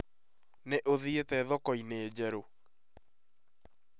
Nĩ ũthiĩte thoko-inĩ njerũ?